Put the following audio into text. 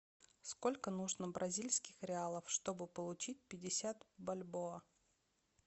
сколько нужно бразильских реалов чтобы получить пятьдесят бальбоа